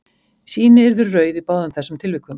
Sýni yrðu rauð í báðum þessum tilvikum.